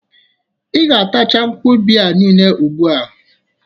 I ga-atacha nkwụaba niile ugbụa!